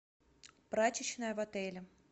прачечная в отеле